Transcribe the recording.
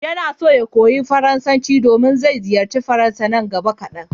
Yana so ya koyi Faransanci domin zai ziyarci Faransa nan gaba kadan.